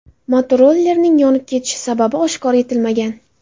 Motorollerning yonib ketishi sababi oshkor etilmagan.